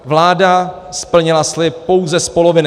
Vláda splnila slib pouze z poloviny.